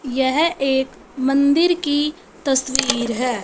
यह एक मंदिर की तस्वीर है।